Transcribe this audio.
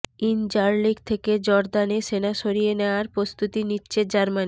Incirlik থেকে জর্দানে সেনা সরিয়ে নেয়ার প্রস্তুতি নিচ্ছে জার্মানি